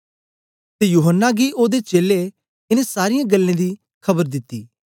ते यूहन्ना गी ओदे चेलें इनें सारीयें गल्लें दी खबर दिती